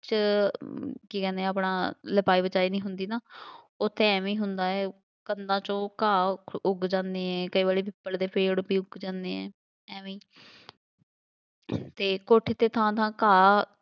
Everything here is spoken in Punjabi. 'ਚ ਕੀ ਕਹਿੰਦੇ ਆਪਣਾ ਲਿਪਾਈ ਪਤਾਈ ਨਹੀਂ ਹੁੰਦੀ ਨਾ, ਉੱਥੇ ਐਵੇਂ ਹੀ ਹੁੰਦਾ ਹੈ, ਕੰਧਾਂ 'ਚੋਂ ਘਾਹ ਉ~ ਉੱਗ ਜਾਂਦੇ ਏ, ਕਈ ਵਾਰੀ ਪਿੱਪਲ ਦੇ ਪੇੜ ਵੀ ਉੱਗ ਜਾਂਦੇ ਆ, ਐਵੇਂ ਅਤੇ ਕੋਠੇ 'ਤੇ ਥਾਂ ਥਾਂ ਘਾਹ 'ਚ